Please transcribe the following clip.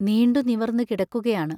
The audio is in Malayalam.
നീണ്ടു നിവർന്നു കിടക്കുകയാണ്.